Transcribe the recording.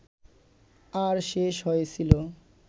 আর শেষ হয়েছিল